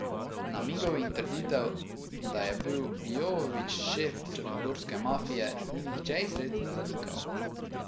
Namigov in trditev, da je bil Jovović šef črnogorske mafije, ni nihče izrecno zanikal...